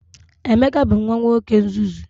Emeka bu nwa nwoke nzuzu.